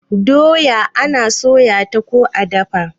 doya ana soya ta ko a dafa